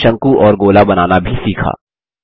हमने शंकु और गोला बनाना भी सीखा